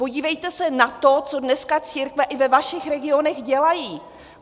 Podívejte se na to, co dneska církve i ve vašich regionech dělají.